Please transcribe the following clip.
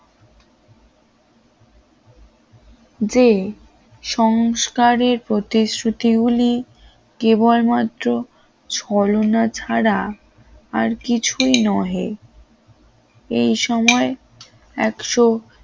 যে সংস্কারের প্রতিশ্রুতি গুলি কেবলমাত্র ছলনা ছাড়া আর কিছুই নয় এই সময়